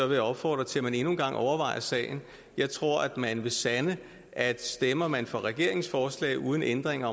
vil opfordre til at man endnu en gang overvejer sagen jeg tror at man vil sande at stemmer man for regeringens forslag uden ændring